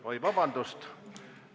Oi, vabandust!